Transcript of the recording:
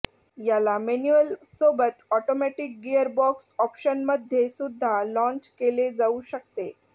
याला मॅन्यूअल सोबत automatic gearbox ऑप्शनमध्ये सुद्धा लाँच केले जावू शकते